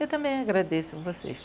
Eu também agradeço vocês.